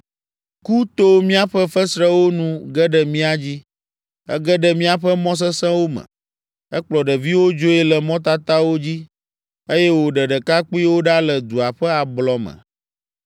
Ku to míaƒe fesrewo nu ge ɖe mía dzi. Ege ɖe míaƒe mɔ sesẽwo me. Ekplɔ ɖeviwo dzoe le mɔtatawo dzi eye wòɖe ɖekakpuiwo ɖa le dua ƒe ablɔ me.